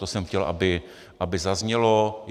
To jsem chtěl, aby zaznělo.